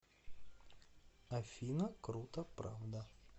афина круто правда